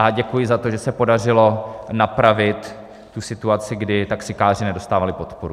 A děkuji za to, že se podařilo napravit tu situaci, kdy taxikáři nedostávali podporu.